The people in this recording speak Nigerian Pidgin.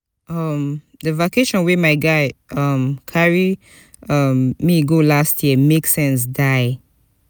um di vacation wey my guy um carry um me go last year make sense die.